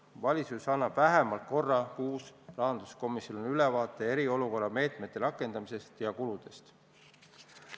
Valitsus annab vähemalt korra kuus rahanduskomisjonile ülevaate eriolukorra meetmete rakendamisest ja kuludest.